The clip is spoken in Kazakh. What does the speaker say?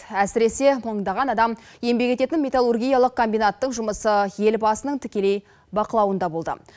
әсіресе мыңдаған адам еңбек ететін металлургиялық комбинаттың жұмысы елбасының тікелей бақылауында болды